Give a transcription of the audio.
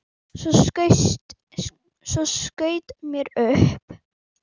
Svo skaut mér upp.